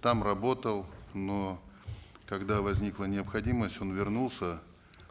там работал но когда возникла необходимость он вернулся